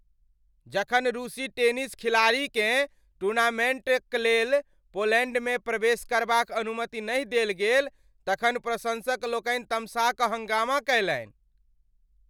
जखन रूसी टेनिस खिलाड़ीकेँ टूर्नामेंटक लेल पोलैंडमे प्रवेश करबाक अनुमति नहि देल गेल तखन प्रशंसकलोकनि तमसा कऽ हंगामा कयलनि ।